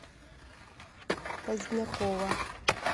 позднякова